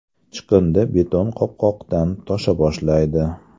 Chiqindi beton qopqoqdan tosha boshlaydi.